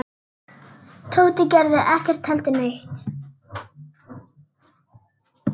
Tóti gerði ekki heldur neitt.